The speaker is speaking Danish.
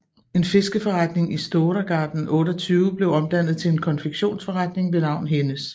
En fiskeforretning i Stora gatan 28 blev omdannet til en konfektionsforretning ved navn Hennes